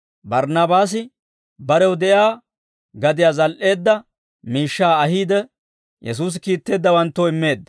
Barnaabaasi barew de'iyaa gadiyaa zal"eedda miishshaa ahiide, Yesuusi kiitteeddawanttoo immeedda.